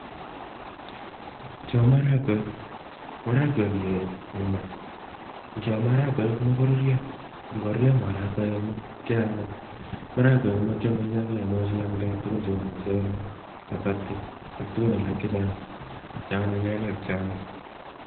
Chuu ko maragonik. Kiyoi en maa ak keam. Kiamdoi amitwogik cheu (chapati, mchele) ak tukun alak che anyinyeen